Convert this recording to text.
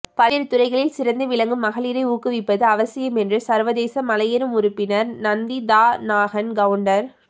பல்வேறு துறைகளில் சிறந்து விளங்கும் மகளிரை ஊக்குவிப்பது அவசியம் என்று சா்வதேச மலையேறும் உறுப்பினா் நந்திதாநாகன் கவுண்டா்